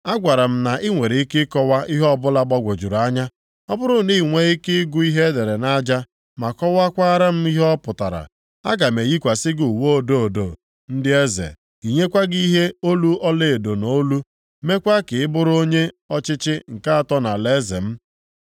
Agwara m na i nwere ike ịkọwa ihe ọbụla gbagwojuru anya. Ọ bụrụ na i nwee ike ịgụ ihe e dere nʼaja ma kọwakwara m ihe ọ pụtara, aga m eyikwasị gị uwe odo odo ndị eze, yinyekwa gị ihe olu ọlaedo nʼolu, meekwa ka i bụrụ onye ọchịchị nke atọ nʼalaeze m.”